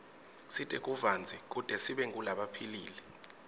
sidle tivandze kute sibe ngulabaphilile